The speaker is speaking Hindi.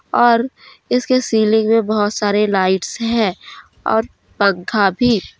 और इसकी सीलिंग में बहोत सारे लाइट्स हैं और पंखा भी--